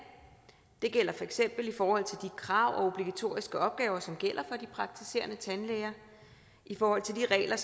det gælder for eksempel i forhold til de krav og obligatoriske opgaver som gælder for de praktiserende tandlæger og i forhold til de regler